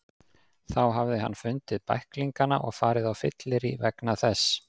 Þá hafði hann fundið bæklingana og farið á fyllerí vegna þess.